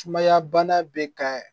Sumaya bana bɛ ka